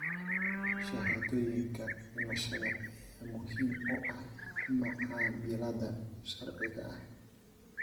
Shahaadooyinka dhimashada ayaa muhiim u ah macaamilada sharciga ah.